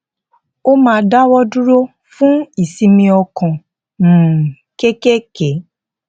ó máa dáwọ dúró fún ìsinmi ọkàn um kéékèèké